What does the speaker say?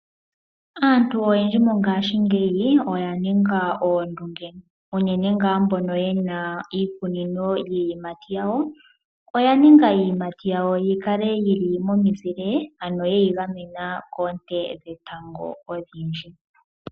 Aantu oyendji mongaashingeyi oya ninga oondunge unene ngaa mbono ye na iikunino yii yimati yawo, oya ninga iiyimati yikale yili momizile ano yeyi gamena koonte dhetango odhindhi.